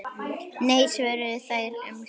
Nei svöruðu þeir um hæl.